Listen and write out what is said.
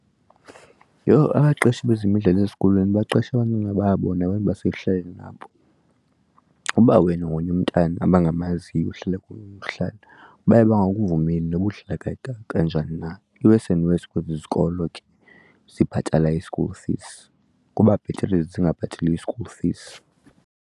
Yho, abaqeshi bezemidlalo ezikolweni baqesha abantwana babo nabantu basekuhlaleni babo. Uba wena ungomnye umntana abangamaziyo uhlala baye bangakuvumeli nobudlala kanjani na i-worse and worse kwezi zikolo ke zibhatala i-school fees kuba bhetere ezi zingabhatali i-school fees.